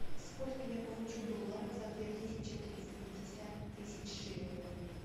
сколько я получу долларов за две тысячи триста пятьдесят тысяч шиллингов